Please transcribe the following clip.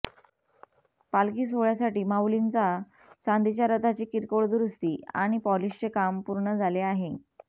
पालखी सोहळ्यासाठी माउलींचा चांदीच्या रथाची किरकोळ दुरुस्ती आणि पॉलिशचे काम पूर्ण झाले आहे